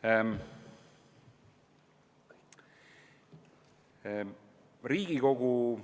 Ka meie siin Riigikogus